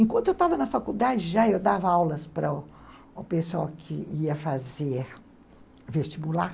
Enquanto eu estava na faculdade, já eu dava aulas para o pessoal que ia fazer vestibular.